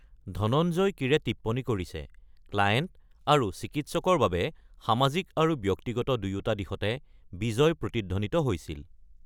ধনঞ্জয় কীৰে টিপ্পনী কৰিছে, "ক্লায়েণ্ট আৰু চিকিৎসকৰ বাবে সামাজিক আৰু ব্যক্তিগত দুয়োটা দিশতে বিজয় প্ৰতিধ্বনিত হৈছিল"।